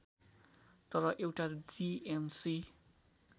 तर एउटा जीएमसी